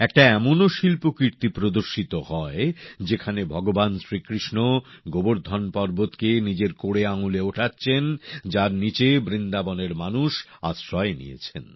একটা এমনও শিল্পকীর্তি প্রদর্শিত হয় যেখানে ভগবান শ্রীকৃষ্ণ গোবর্ধন পর্বতকে নিজের কড়ে আঙুলে ওঠাচ্ছেন যার নিচে বৃন্দাবনের মানুষ আশ্রয় নিয়েছেন